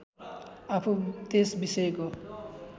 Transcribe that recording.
आफू त्यस विषयको